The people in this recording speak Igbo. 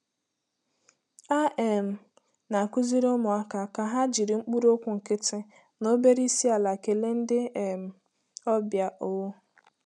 A um na-akụziri ụmụaka ka ha jiri mkpụrụokwu nkịtị na obere isi-ala kelee ndị um ọbịa. um